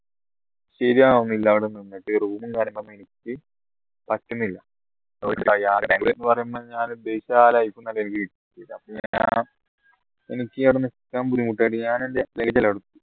ശരിയാവുന്നില്ല അവിടെ നിന്നിട്ട് room ഉം കാര്യങ്ങളൊക്കെ പറ്റുന്നില്ല ബാംഗ്ലൂര്ന്ന് പറയുമ്പോ ഞാൻ ഉദ്ദേശിച്ച ആ life എനിക്ക് കിട്ടിട്ടില്ല എനിക്ക് അവിടെ നിക്കാൻ ബുദ്ധിമുട്ടായിട്ട് ഞാൻ